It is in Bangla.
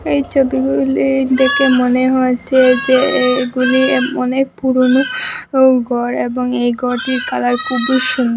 এই ছবিগুলি দেখে মনে হচ্ছে যে এগুলি এ অনেক পুরোনো ঘর এবং এই ঘরটির কালার খুবই সুন্দ--